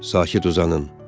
Sakit uzanın.